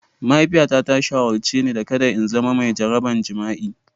Mahaifiyata ta shawarce ni da kada in zama mai jaraban jima'i.